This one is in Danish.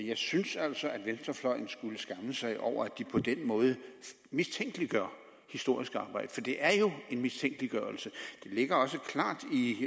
jeg synes altså at venstrefløjen skulle skamme sig over at de på den måde mistænkeliggør historisk arbejde for det er jo en mistænkeliggørelse det ligger også klart i